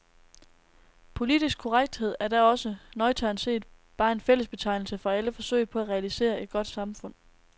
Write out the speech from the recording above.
Politisk korrekthed er da også, nøgternt set, bare en fællesbetegnelse for alle forsøg på at realisere et godt samfund.